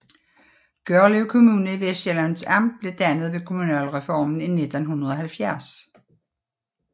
Gørlev Kommune i Vestsjællands Amt blev dannet ved kommunalreformen i 1970